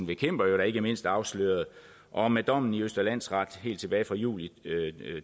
jo ikke mindst afsløret og med dommen i østre landsret helt tilbage fra juli